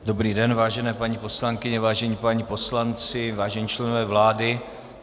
Dobrý den, vážené paní poslankyně, vážení páni poslanci, vážení členové vlády.